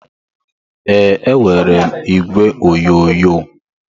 Ee, enwere m igwe onyonyo.